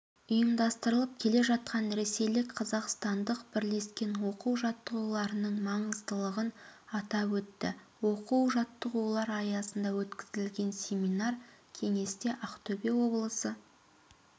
ұйымдастырылып келе жатқан ресейлік-қазақстандық бірлескен оқу-жаттығуларының маңыздылығын атап өтті оқу-жаттығулар аясында өткізілген семинар-кеңесте ақтөбе облысы